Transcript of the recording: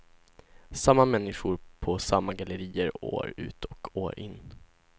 Samma människor på samma gallerier år ut och år in.